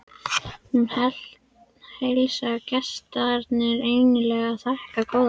Hún heilsar gestarununni innilega og þakkar góðar gjafir.